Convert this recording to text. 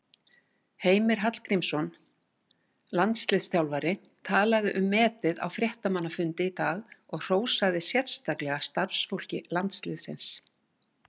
Heimir Hallgrímsson, landsliðsþjálfari, talaði um metið á fréttamannafundi í dag og hrósaði sérstaklega starfsfólki landsliðsins.